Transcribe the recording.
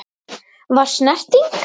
Var snerting?